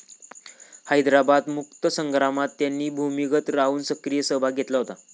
हैद्राबाद मुक्तिसंग्रामात त्यांनी भूमिगत राहून सक्रिय सहभाग घेतला होता.